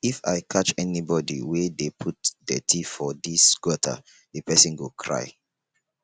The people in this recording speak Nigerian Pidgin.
if i catch anybody wey dey put dirty for dis gutter the person go cry